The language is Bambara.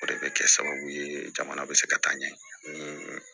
O de bɛ kɛ sababu ye jamana bɛ se ka taa ɲɛ ni